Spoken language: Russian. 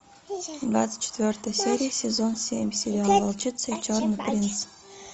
двадцать четвертая серия сезон семь сериал волчица и черный принц